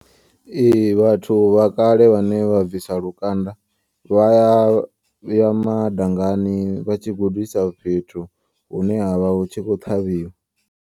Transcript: Ee vhathu vha kale vhane vha bvisa lukanda. Vhaya ya madangani vhatshi gudisa fhethu hune ha vha hu tshi khou ṱhavhiwa.